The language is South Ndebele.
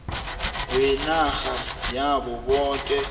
wenarha yabo boke